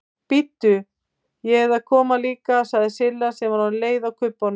Bíddu, ég eð að koma líka sagði Silla sem var orðin leið á kubbunum.